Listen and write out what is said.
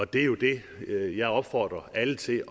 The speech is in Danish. det er jo det jeg opfordrer alle til